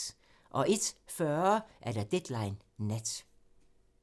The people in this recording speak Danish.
01:40: Deadline Nat